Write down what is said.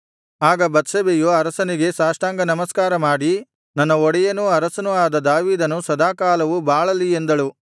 ಆಗ ಬತ್ಷೆಬೆಯು ಅರಸನಿಗೆ ಸಾಷ್ಟಾಂಗನಮಸ್ಕಾರ ಮಾಡಿ ನನ್ನ ಒಡೆಯನೂ ಅರಸನೂ ಆದ ದಾವೀದನು ಸದಾಕಾಲವೂ ಬಾಳಲಿ ಎಂದಳು